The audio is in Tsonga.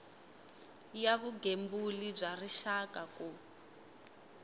ya vugembuli bya rixaka ku